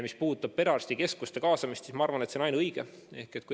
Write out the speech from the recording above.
Mis puudutab perearstikeskuste kaasamist, siis ma arvan, et see on ainuõige.